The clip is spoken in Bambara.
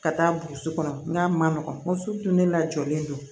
Ka taa burusi kɔnɔ n'a ma nɔgɔn muso dun ne la jɔlen don